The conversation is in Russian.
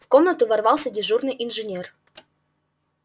в комнату ворвался дежурный инженер